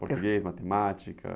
Português, matemática?